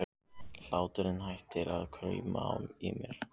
Hláturinn hættir að krauma í mér.